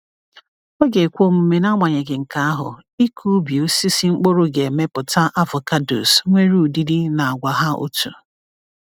Ọ ga-ekwe omume, n’agbanyeghị nke ahụ, ịkụ ubi osisi mkpụrụ ga-emepụta avocados nwere ọdịdị na àgwà hà otu.